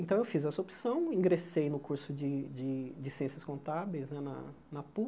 Então eu fiz essa opção, ingressei no curso de de de ciências contábeis né, na na